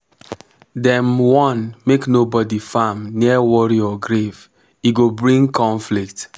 dem warn make nobody farm near warrior grave e go bring conflict